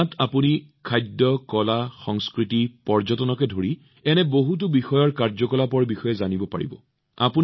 ইয়াত আপোনালোকে খাদ্য কলা সংস্কৃতি পৰ্যটনকে ধৰি এনে বহুতো বিষয়ৰ কাৰ্যকলাপৰ বিষয়ে জানিব পাৰিব